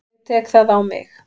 Ég tek það á mig.